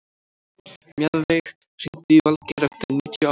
Mjaðveig, hringdu í Valgeir eftir níutíu og átta mínútur.